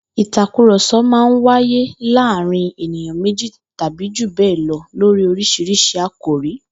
Ìtàkurò̩so̩ máa n wáyé láàárín ènìyàn méjì tàbí jù bé̩è̩ lo̩ lórí orísirísi àkòrí